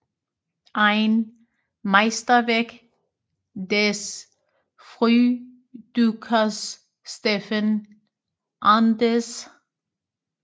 Ein Meisterwerk des Frühdruckers Steffen Arndes